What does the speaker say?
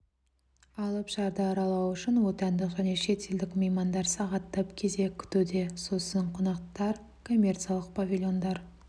алып шарды аралау үшін отандық және шетелдік меймандар сағаттап кезек күтуде сосын қонақтар коммерциялық павильондар